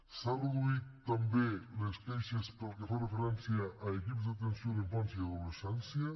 s’han reduït també les queixes pel que fa referència a equips d’atenció a la infància i adolescència